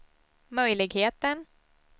möjligheten